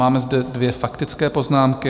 Máme zde dvě faktické poznámky.